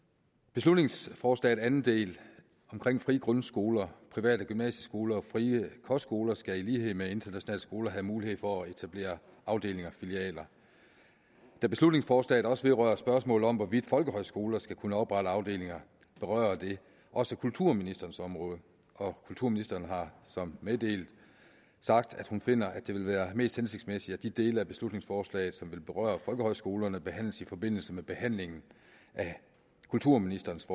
beslutningsforslagets anden del om frie frie grundskoler private gymnasieskoler og frie kostskoler skal i lighed med internationale skoler have mulighed for at til etablere afdelinger og filialer da beslutningsforslaget også vedrører spørgsmålet om hvorvidt folkehøjskoler skal kunne oprette afdelinger berører det også kulturministerens område og kulturministeren har så meddelt at hun finder at det vil være mest hensigtsmæssigt at de dele af beslutningsforslaget som vil berøre folkehøjskolerne behandles i forbindelse med behandlingen af kulturministerens